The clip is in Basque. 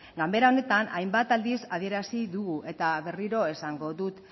ganbara honetan hainbat aldiz adierazi dut eta berriro esango dut